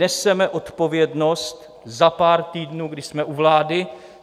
Neseme odpovědnost za pár týdnů, kdy jsme u vlády.